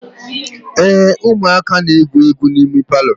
ee, ụmụaka na-egwu egwu n'ime palọ